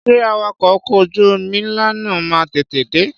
Ṣé Awakọ̀ ọkọ̀ ojú omi ńlá náà máa tètè de?